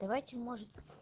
давайте может